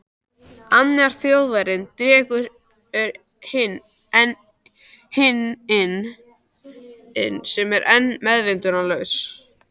Annar Þjóðverjinn dregur inn hinn sem er enn meðvitundarlaus.